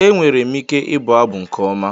Ee, enwere m ike ịbụ abụ nke ọma